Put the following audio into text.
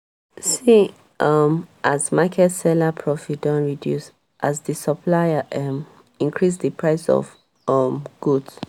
see um as market seller profit don reduce as di supplier um increase di price of um goods.